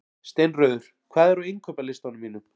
Steinröður, hvað er á innkaupalistanum mínum?